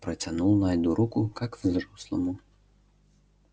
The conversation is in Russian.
протянул найду руку как взрослому